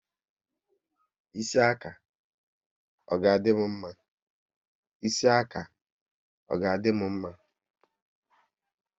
Ịsị aka, ọ ga dị m mma?